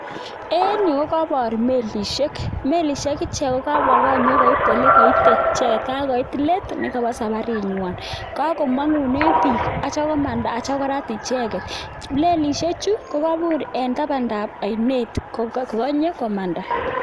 En yuu kokobor melishek, melishek chekabwa elenyokoit elekoite icheket kakoit leet nekobo sabarinywan, kakomongunen biik akityo korat icheket, melishechu ko Kabir en tabandab oinet kokonye komanda.